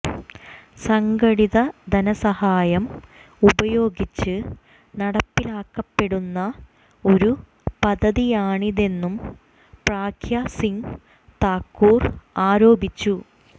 സംഘടിത ധനസഹായം ഉപയോഗിച്ച് നടപ്പിലാക്കപ്പെടുന്ന ഒരു പദ്ധതിയാണിതെന്നും പ്രഗ്യാ സിംഗ് താക്കുർ ആരോപിച്ചു